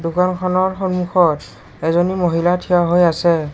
দোকান খনৰ সন্মুখত এজনী মহিলা থিয় হৈ আছে।